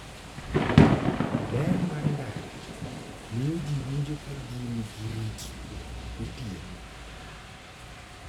Ler mar ndara miyo ji winjo ka gin gi ritruok gotieno.